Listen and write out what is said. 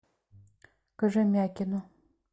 кожемякину